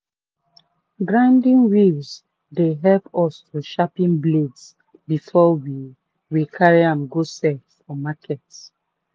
grinding wheels dey help us to sharpen blades before we we carry am go sell for market.